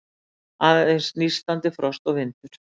Aðeins nístandi frost og vindur.